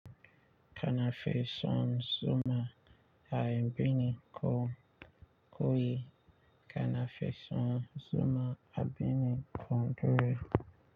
Kana feson zuma a yambini kom koyi kana feson zuma a bini kondore.